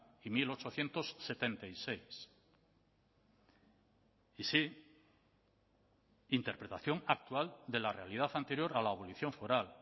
y mil ochocientos setenta y seis y sí interpretación actual de la realidad anterior a la abolición foral